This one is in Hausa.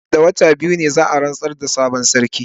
Nan da kwanaki biyu ne za a rantsar da sabon sarki.